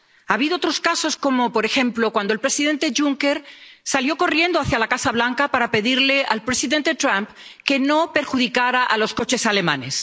Ha habido otros casos, como, por ejemplo, cuando el presidente Juncker salió corriendo hacia la Casa Blanca para pedirle al presidente Trump que no perjudicara a los coches alemanes.